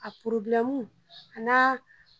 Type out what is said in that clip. A n'a